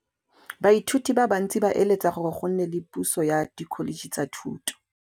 Baithuti ba bantsi ba eletsa gore go nne le pusô ya Dkholetšhe tsa Thuto.